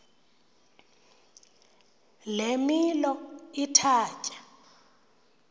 le milo ithatya